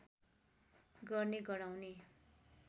गर्ने गराउने